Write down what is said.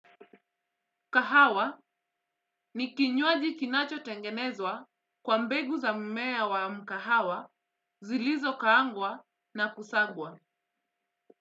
Kahawa ni kinywaji kinacho tengenezwa kwa mbegu za mmea wa mkahawa zilizo kaangwa na kusagwa.